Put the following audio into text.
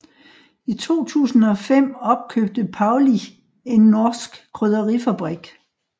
I 2005 opkøbte Paulig en norsk krydderifabrik